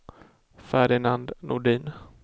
Ferdinand Nordin